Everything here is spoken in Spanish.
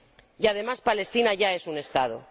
Y, además, Palestina ya es un Estado.